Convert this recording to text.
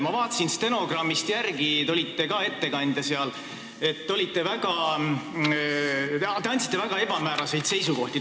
Ma vaatasin stenogrammist järele, te olite ka siis ettekandja ja esitasite väga ebamääraseid seisukohti.